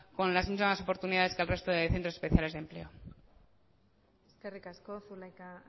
con las mismas oportunidades que el resto de centros especiales de empleo eskerrik asko zulaika